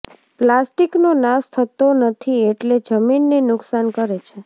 પ્લાસ્ટીકનો નાશ થતો નથી એટલે જમીનને નુકશાન કરે છે